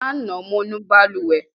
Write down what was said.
Lánàá, mo nu balùwẹ̀.